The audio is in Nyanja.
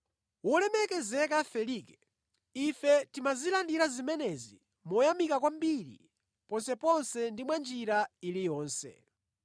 Wolemekezeka Felike ife timazilandira zimenezi moyamika kwambiri ponseponse ndi mwa njira iliyonse.